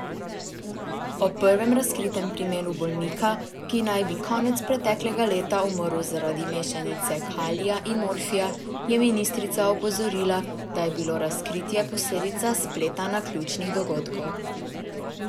O prvem razkritem primeru bolnika, ki naj bi konec preteklega leta umrl zaradi mešanice kalija in morfija, je ministrica opozorila, da je bilo razkritje posledica spleta naključnih dogodkov.